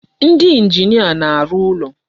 Ndị engineer na-arụ ụlọ.